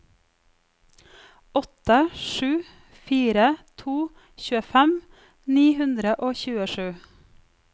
åtte sju fire to tjuefem ni hundre og tjuesju